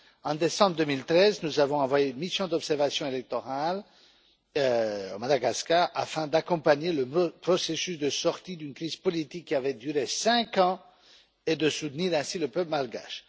En décembre 2013, nous avons envoyé une mission d'observation électorale à Madagascar, afin d'accompagner le processus de sortie d'une crise politique qui avait duré cinq ans et de soutenir ainsi le peuple malgache.